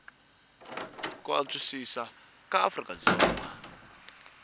ku antswisiwa ka afrika dzonga